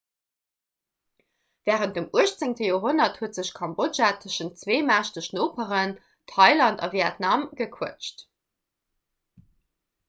wärend dem 18 joerhonnert huet sech kambodja tëschent zwee mächteg noperen thailand a vietnam gequëtscht